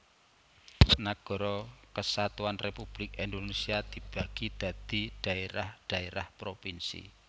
Nagara Kesatuan Republik Indonésia dibagi dadi dhaérah dhaérah provinsi